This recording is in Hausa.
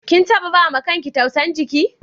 Kin tabba ba ma kan ki tausan jiki?